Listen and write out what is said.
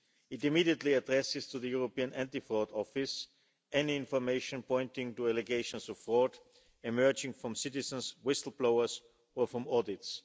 It immediately addresses, to the European Anti Fraud Office, any information pointing to allegations of fraud emerging from citizens, whistle blowers, or from audits.